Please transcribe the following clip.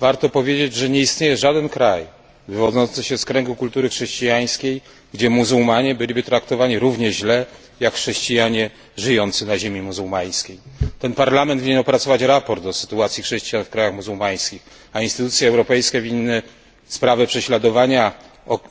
Warto powiedzieć, że nie istnieje żaden kraj wywodzący się z kręgu kultury chrześcijańskiej, gdzie muzułmanie byliby traktowani równie źle, jak chrześcijanie żyjący na ziemi muzułmańskiej. Ten Parlament winien opracować sprawozdanie o sytuacji chrześcijan w krajach muzułmańskich, a instytucje europejskie winny sprawę prześladowania